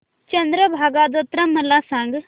चंद्रभागा जत्रा मला सांग